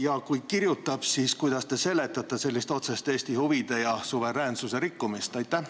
Ja kui kirjutab, siis kuidas te seletate sellist otsest Eesti huvide ja suveräänsuse rikkumist?